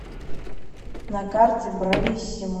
на карте брависсимо